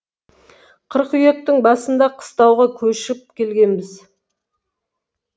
қыркүйектің басында қыстауға көшіп келгенбіз